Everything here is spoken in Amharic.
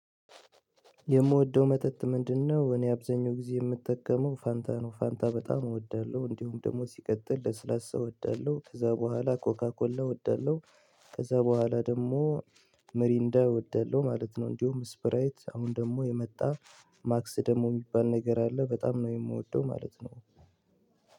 የምወደው መጠጥ ምንድነው? እኔ በአብዛኛው ጊዜ የምጠቀመው ፋንታ ነው። ፋንታ በጣም እወዳለሁ፤ እንዲሁም ደግሞ ሲቀጥል ለስላሳ እወዳለሁ፤ ከዛ በኋላ ኮካኮላ እወዳለሁ። ከዛ በኋላ ደግሞ ሚሪንዳ ወዳለው ማለት ነው። እንዲሁም ስፕራይት አሁን ደግሞ የመጣ ማክስ ደግሞ የሚባል ነገር አለ በጣም ነው የምወደው ማለት ነው።